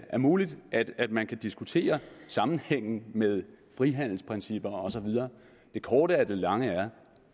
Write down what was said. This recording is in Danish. er muligt at man kan diskutere sammenhængen med frihandelsprincipper og så videre det korte af det lange er